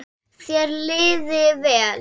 Þér liði vel.